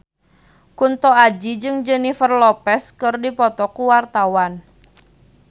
Kunto Aji jeung Jennifer Lopez keur dipoto ku wartawan